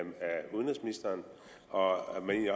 udenrigsministeren og